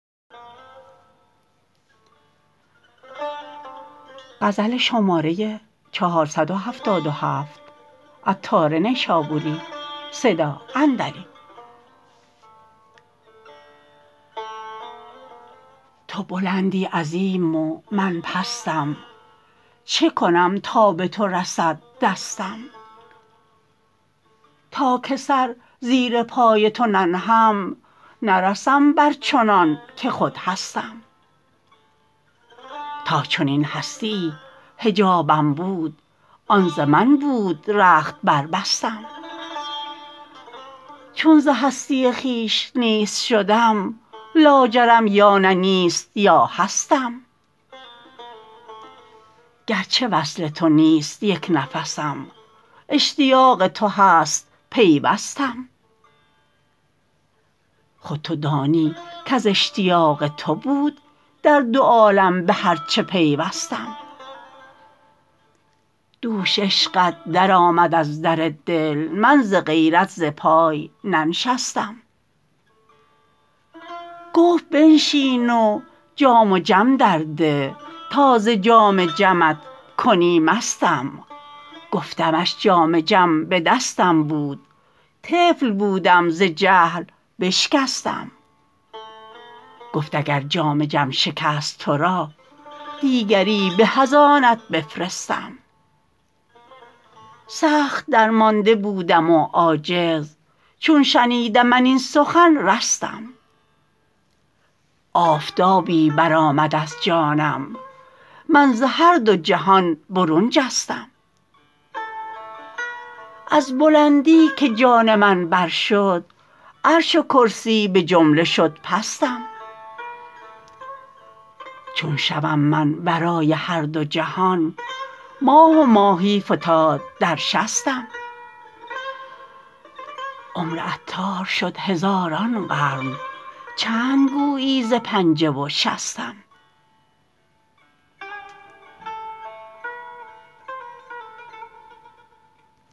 تو بلندی عظیم و من پستم چکنم تا به تو رسد دستم تا که سر زیر پای تو ننهم نرسم بر چنان که خود هستم تا چنین هستیی حجابم بود آن ز من بود رخت بربستم چون ز هستی خویش نیست شدم لاجرم یا نه نیست یا هستم گرچه وصل تو نیست یک نفسم اشتیاق تو هست پیوستم خود تو دانی کز اشتیاق تو بود در دو عالم به هرچه پیوستم دوش عشقت درآمد از در دل من ز غیرت ز پای ننشستم گفت بنشین و جام و جم در ده تا ز جام جمت کنی مستم گفتمش جام جم به دستم بود طفل بودم ز جهل بشکستم گفت اگر جام جم شکست تورا دیگری به از آنت بفرستم سخت درمانده بودم و عاجز چون شنیدم من این سخن رستم آفتابی برآمد از جانم من ز هر دو جهان برون جستم از بلندی که جان من بر شد عرش و کرسی به جمله شد پستم چون شوم من ورای هر دو جهان ماه و ماهی فتاد در شستم عمر عطار شد هزاران قرن چند گویی ز پنجه و شستم